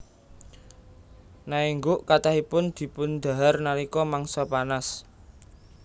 Naengguk kathahipun dipundhahar nalika mangsa panas